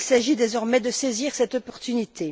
Il s'agit désormais de saisir cette opportunité.